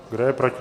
Kdo je proti?